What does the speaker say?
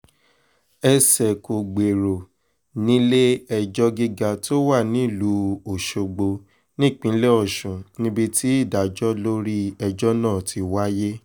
ẹsẹ̀ kò gbèrò nílé-ẹjọ́ gíga tó wà nílùú ọ̀ṣọ́gbó nípínlẹ̀ ọ̀sùn níbi tí ìdájọ́ lórí ẹjọ́ náà ti wáyé